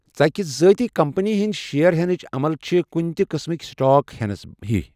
ژَکِہ ذاتی کمپنی ہنٛدۍ شیٮر ہٮ۪نٕچ عمل چھِ کُنہِ تہٕ قسمٕکۍ سٹاک ہٮ۪نس ہِوی۔